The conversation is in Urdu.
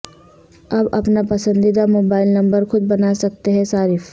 اب اپنا پسندیدہ موبائل نمبر خود بناسکتے ہیں صارف